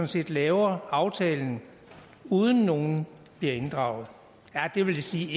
set laver aftalen uden at nogen bliver inddraget det vil sige